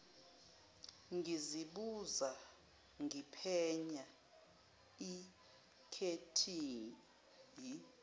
ngizibuza ngiphenya ikhethihi